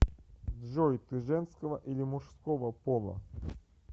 джой ты женского или мужского пола